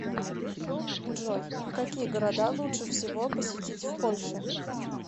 джой какие города лучше всего посетить в польше